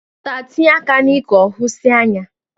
Nwata tinye aka n'ike ohusie anya.